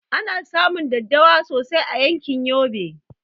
Ana samun daddawa sosai a yankin yobe